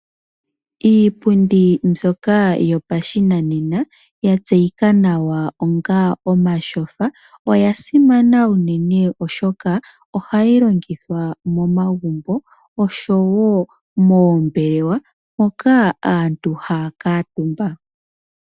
Iipundi mbyoka yopashinanena ya tseyika nawa onga omatyofa. Oya simana unene oshoka ohayi longithwa momagumbo osho woo moombelewa moka aantu haya kuutumba.